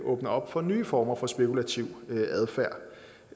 åbner op for nye former for spekulativ adfærd